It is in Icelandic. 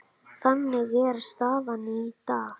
Þannig er staðan í dag.